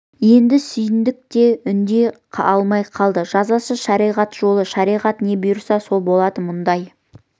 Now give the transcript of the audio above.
енді сүйіндік те үндей алмай қалды жазасы шариғат жолы шариғат не бұйырса сол болады мұндай